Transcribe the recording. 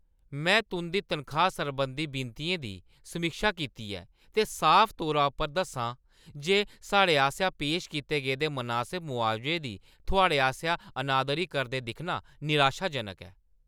में तुं'दी तनखाही सरबंधी विनतियें दी समीक्षा कीती ऐ, ते साफ तौरा उप्पर दस्सां जे साढ़े आसेआ पेश कीते गेदे मनासब मुआवजे दी थुआढ़े आसेआ अनादरी करदे दिक्खना निराशाजनक ऐ ।